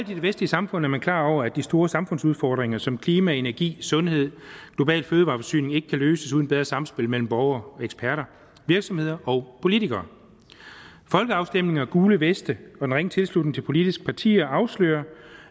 det vestlige samfund er man klar over at de store samfundsudfordringer som klima energi sundhed og global fødevareforsyning ikke kan løses uden bedre samspil mellem borgere og eksperter virksomheder og politikere folkeafstemninger gule veste og en ringe tilslutning til politiske partier afslører